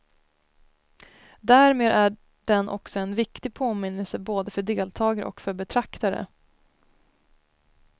Därmed är den också en viktig påminnelse både för deltagare och för betraktare.